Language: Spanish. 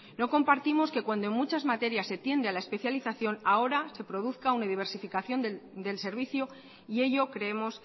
no compartimos que cuando en muchas materias se tiende a la especialización ahora se produzca una diversificación del servicio y ello creemos